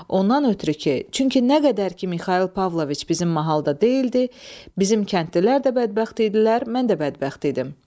Ondan ötrü ki, çünki nə qədər ki Mixail Pavloviç bizim mahalda deyildi, bizim kəndlilər də bədbəxt idilər, mən də bədbəxt idim.